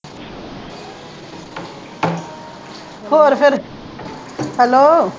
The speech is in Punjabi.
ਹੋਰ ਫੇਰ hello